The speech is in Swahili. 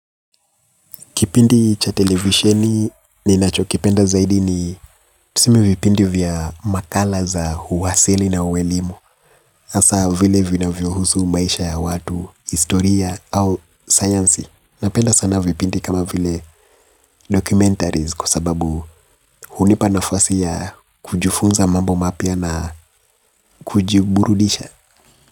Kipindi cha televisheni, ninacho kipenda zaidi ni tuseme vipindi vya makala za huwasili na uwelimu, hasa vile vinavyohusu maisha ya watu, historia au sayansi. Napenda sana vipindi kama vile documentaries kwa sababu hunipa nafasi ya kujifunza mambo mapya na kujiburudisha.